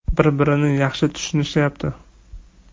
Bir-birini yaxshi tushunishyapti.